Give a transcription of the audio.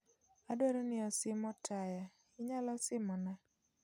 Adwaro ni osim otaya inyalo simona